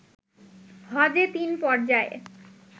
হজে তিন পর্যায়ে